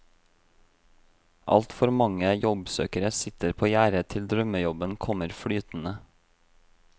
Altfor mange jobbsøkere sitter på gjerdet til drømmejobben kommer flytende.